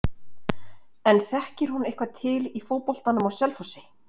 En þekkir hún eitthvað til í fótboltanum á Selfossi?